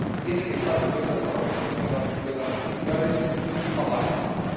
además, tienen que estar sujetas a las respectivas tutelas judiciales y parlamentarias.